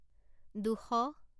দুশ